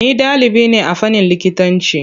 Ni ɗalibi ne a fannin likitanci.